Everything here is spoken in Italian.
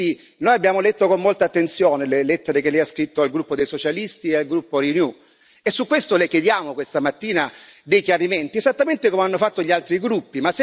E quindi noi abbiamo letto con molta attenzione le lettere che Lei ha scritto al gruppo dei socialisti e al gruppo Renew e su questo Le chiediamo questa mattina dei chiarimenti, esattamente come hanno fatto gli altri gruppi.